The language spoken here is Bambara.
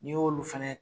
N'i y'olu fɛnɛ